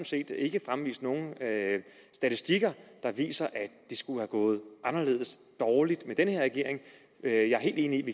set ikke fremvist nogen statistikker der viser at det skulle være gået anderledes dårligt med den her regering jeg er helt enig i at